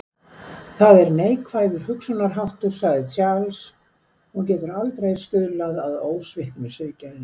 Það er neikvæður hugsunarháttur, sagði Charles, og getur aldrei stuðlað að ósviknu siðgæði.